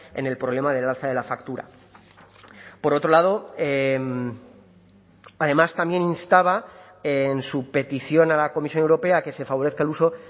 en el problema del alza de la factura por otro lado además también instaba en su petición a la comisión europea que se favorezca el uso